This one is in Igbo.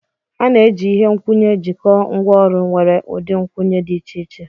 A na-eji ihe nkwụnye jikọọ ngwaọrụ nwere ụdị nkwụnye dị iche iche.